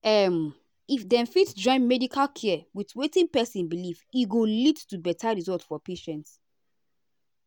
um if dem fit join medical care with wetin person believe e go lead to better result for patients.